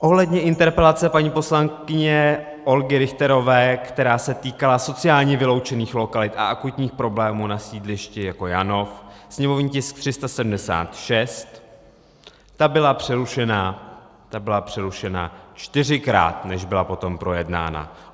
Ohledně interpelace paní poslankyně Olgy Richterové, která se týkala sociálně vyloučených lokalit a akutních problémů na sídlišti jako Janov, sněmovní tisk 376, ta byla přerušena čtyřikrát, než byla potom projednána.